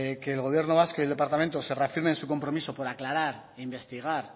que el gobierno vasco y el departamento se reafirmen en su compromiso por aclarar e investigar